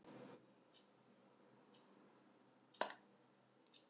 Hvaða lið telur þú vera sigurstranglegust í deildinni?